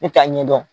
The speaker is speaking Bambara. Ne t'a ɲɛdɔn